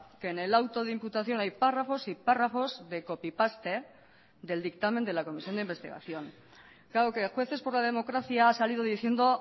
que en el auto de imputación hay párrafos y párrafos de copy paste del dictamen de la comisión de investigación claro que jueces por la democracia ha salido diciendo